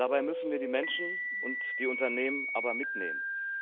Dabei müssen wir die Menschen und die Unternehmen aber mitnehmen.